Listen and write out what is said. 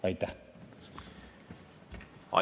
Aitäh!